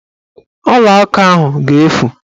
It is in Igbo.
Ọlaaka ahụ ga-efu